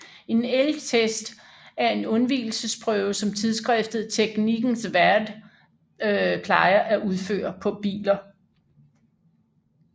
En elgtest er en undvigelsesprøve som tidsskriftet Teknikens Värld plejer at udføre på biler